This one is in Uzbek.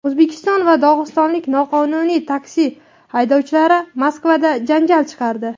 O‘zbekiston va dog‘istonlik noqonuniy taksi haydovchilari Moskvada janjal chiqardi.